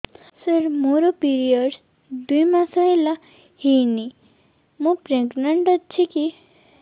ସାର ମୋର ପିରୀଅଡ଼ସ ଦୁଇ ମାସ ହେଲା ହେଇନି ମୁ ପ୍ରେଗନାଂଟ ଅଛି କି